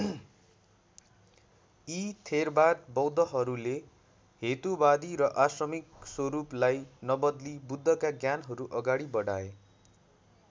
यी थेरवाद बौद्धहरूले हेतुवादी र आश्रमिक स्वरूपलाई नबदली बुद्धका ज्ञानहरू अगाडि बढाए।